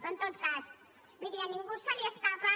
però en tot cas miri a ningú se li escapa